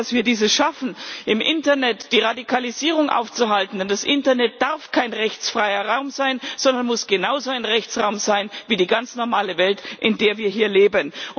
Ich hoffe, dass wir es schaffen, im Internet die Radikalisierung aufzuhalten, denn das Internet darf kein rechtsfreier Raum sein, sondern muss genauso ein Rechtsraum sein wie die ganz normale Welt, in der wir hier leben.